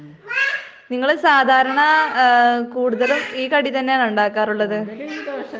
നിങ്ങള് സാധാരണ കൂടുതലും ഈ കടി തന്നെ ആണോ ഉണ്ടാകാറുള്ളത് ?